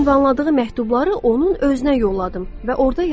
Mənə ünvanladığı məktubları onun özünə yolladım və orada yazdım: